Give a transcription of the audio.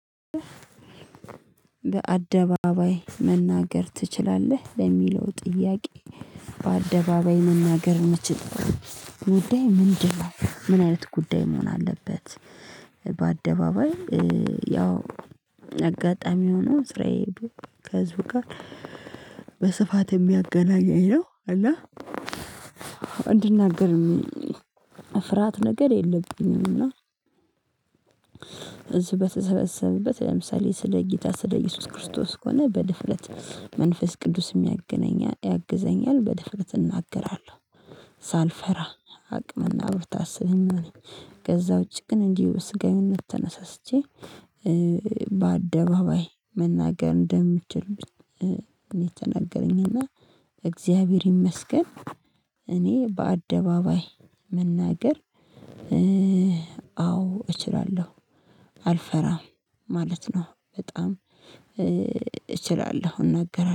በአደባባይ መናገር ትችላለህ ለሚለው ጥያቄ? በአደባባይ መናገር ምችል ጉዳይ ምንድን ነው ምን አይነት ጉዳይ መሆን አለበት? በአደባባይ ያው አጋጣሚ ሆኖ ስራዬ ሄዶ ከህዝብ ጋር። በስፋት የሚያገናኘኝ ነው እና እንድናገርም ፍርሃት ነገር የለብኝም። እና እዚህ በተሰበሰበበት ለምሳሌ ስለ ጌታ ስለ ኢየሱስ ክርስቶስ ከሆነ በድፍረት መንፈስ ቅዱስ ሚያግናኛ ያግዘኛል በድፍረት እናገራለሁ። ሳልፈራ አቅም እና ብርታት ስለሚሆነኝ። ከዛ ውጪ ግን እንዲሁ ስጋዊነት ተነሳስቼ። በአደባባይ መናገር እንደምችል እኔ ትናገረኝ እና እግዚአብሔር ይመስገን። እኔ በአደባባይ መናገር አዎ እችላለሁ አልፈራም ማለት ነው። በጣም እችላለሁ እናገራለሁ